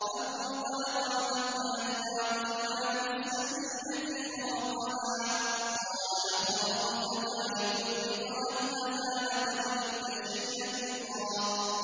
فَانطَلَقَا حَتَّىٰ إِذَا رَكِبَا فِي السَّفِينَةِ خَرَقَهَا ۖ قَالَ أَخَرَقْتَهَا لِتُغْرِقَ أَهْلَهَا لَقَدْ جِئْتَ شَيْئًا إِمْرًا